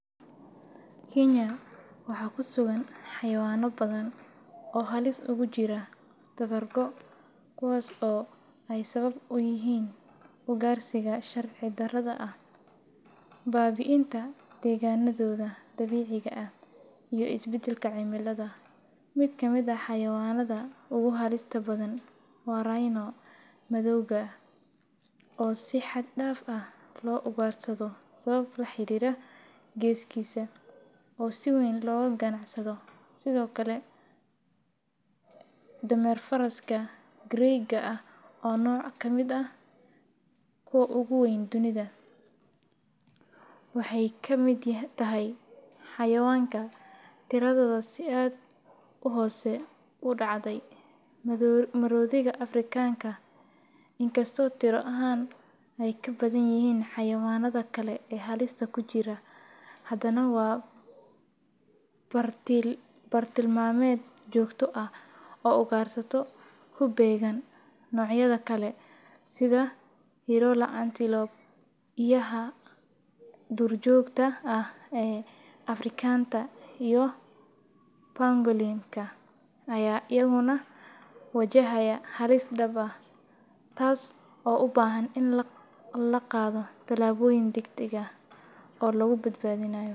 Kenya waxaa ku sugan xayawano badan oo halis ugu jira tawar go tas oo sawab uyihin ugarsiga sharci daradha ah babiinta deganadhoda iyo iabadalka cimilada, miid ka miid ah xayawanadha ugu halista badan waa rhino oo si xagdaaf ah lo ugarsaado sawabto laxirira geskisa oo siweyn loga ganacsado sithokale dameer faraska grey ga ah kuwa ogu weyn dunidha waxee ka miid tahay xayawanka tirashooda si hose u dacde marodhiga afrikanka ah in kasto tira ahan ee ka badanyihin xayawanaada kale ee halista kujira, hadana waa bar til mameed jogto ah oo ugarsato ku began nocyada kale sitha antelope iyo xayawandha dur jogta ah ee africanta aya iyaguna wajahaya halis daab ah oo lagu bad badinaya.